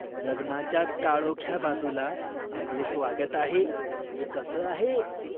"लग्नाच्या काळोख्या बाजूला आपले स्वागत आहे" हे कसं आहे?